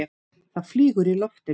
Það flýgur í loftinu.